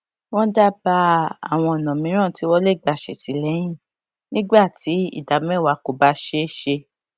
wón dábàá àwọn ònà mìíràn tí wón lè gbà ṣètìléyìn nígbà tí ìdá méwàá kò bá ṣeé ṣe